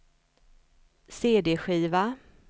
cd-skiva